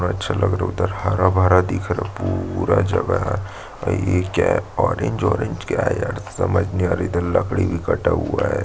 पूरा अच्छा लग रहा है उधर हरा-भरा दिख रहा है पूरा जगह है ये क्या है ऑरेंज ऑरेंज क्या है यार समझ नहीं आ रहा इधर लकड़ी भी कटा हुआ है।